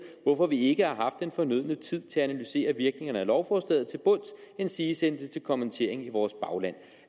hvorfor vi ikke har den fornødne tid til at analysere virkningerne af lovforslaget til bunds endsige sende det til kommentering i vores bagland